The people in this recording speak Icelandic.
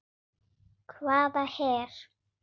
Hvaða her?